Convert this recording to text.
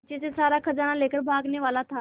पीछे से सारा खजाना लेकर भागने वाला था